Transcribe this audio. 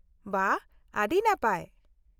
ᱵᱷᱟ, ᱟᱹᱰᱤ ᱱᱟᱯᱟᱭ !